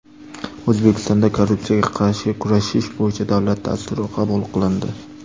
O‘zbekistonda Korrupsiyaga qarshi kurashish bo‘yicha davlat dasturi qabul qilindi.